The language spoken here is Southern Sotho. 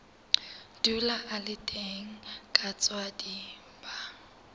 dula a le teng kaswadi ba